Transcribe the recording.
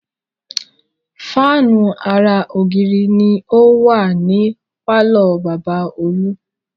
Fáànù ara ògiri ni ó wà ní pàlọ́ bàbá Olú